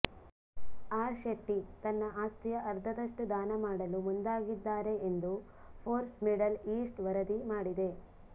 R Shetty ತನ್ನ ಆಸ್ತಿಯ ಅರ್ಧದಷ್ಟು ದಾನ ಮಾಡಲು ಮುಂದಾಗಿದ್ದಾರೆ ಎಂದು ಫೋರ್ಬ್ಸ್ ಮಿಡಲ್ ಈಸ್ಟ್ ವರದಿ ಮಾಡಿದೆ